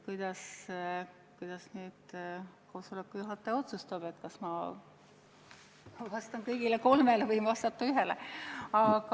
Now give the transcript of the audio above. Kuidas nüüd koosoleku juhataja otsustab: kas ma vastan kõigile kolmele või võin vastata ühele?